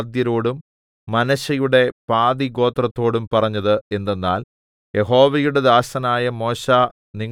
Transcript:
പിന്നെ യോശുവ രൂബേന്യരോടും ഗാദ്യരോടും മനശ്ശെയുടെ പാതിഗോത്രത്തോടും പറഞ്ഞത് എന്തെന്നാൽ